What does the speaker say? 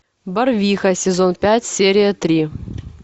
барвиха сезон пять серия три